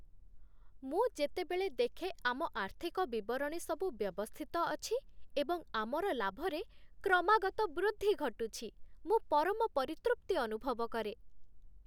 ମୁଁ ଯେତେବେଳେ ଦେଖେ ଆମ ଆର୍ଥିକ ବିବରଣୀ ସବୁ ବ୍ୟବସ୍ଥିତ ଅଛି ଏବଂ ଆମର ଲାଭରେ କ୍ରମାଗତ ବୃଦ୍ଧି ଘଟୁଛି, ମୁଁ ପରମ ପରିତୃପ୍ତି ଅନୁଭବ କରେ।